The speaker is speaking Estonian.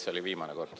See oli viimane kord.